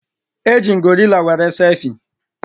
Eji m gorila were selfie